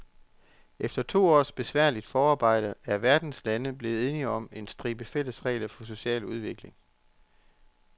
Efter to års besværligt forarbejde er verdens lande blevet enige om en stribe fælles regler for social udvikling.